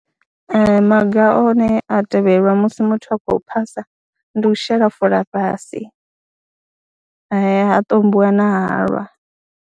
Ee, maga one a tevhelwa musi muthu a khou phasa ndi u shela fola fhasi, ha ṱombiwa na halwa.